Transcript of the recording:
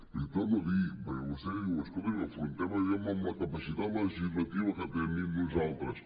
li ho torno a dir perquè vostè diu escolti afrontem allò amb la capacitat legislativa que tenim nosaltres